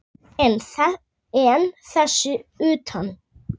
En þess utan?